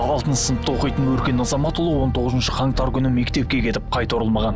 алтыншы сыныпта оқитын өркен азаматұлы он тоғызыншы қаңтар күні мектепке кетіп қайта оралмаған